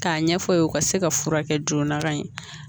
K'a ɲɛfɔ o ye o ka se ka furakɛ joona ka ɲɛ